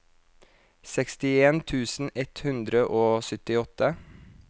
sekstien tusen ett hundre og syttiåtte